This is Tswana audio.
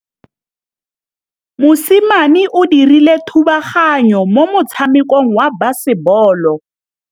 Mosimane o dirile thubaganyô mo motshamekong wa basebôlô.